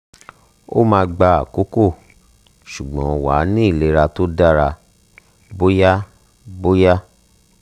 o ma gba akoko sugbon wa ni ilera to dara boya boya